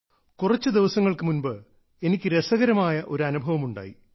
കുറച്ചു ദിവസങ്ങൾക്കു മുൻപ് എനിക്ക് രസകരമായ ഒരു അനുഭവമുണ്ടായി